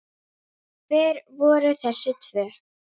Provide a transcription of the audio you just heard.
Hver voru þessi tvö?